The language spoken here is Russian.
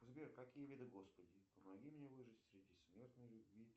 сбер какие виды господи помоги мне выжить среди смертной любви